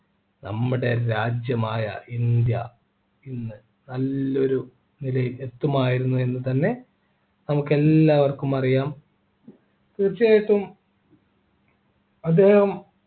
നമ്മുടെ രാജ്യമായ ഇന്ത്യ ഇന്ന് നല്ലൊരു നിലയി എത്തുമായിരുന്നു എന്ന് തന്നെ നമുക്ക് എല്ലാവർക്കും അറിയാം തീർച്ചയായിട്ടും അദ്ദേഹം